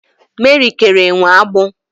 Meri kere enwe agbụ